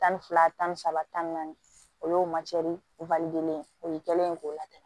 Tan ni fila tan ni saba tan ni naani o y'o o ye kɛlen ye k'o latigɛ